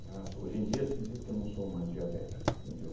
hoje em dia se diz que eu não sou mais diabético, entende? Eu